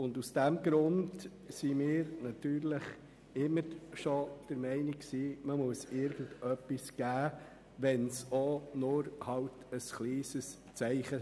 Aus diesem Grund waren wir immer schon der Meinung, dass wir irgendetwas geben müssen, sei es auch nur in Form eines kleinen Zeichens.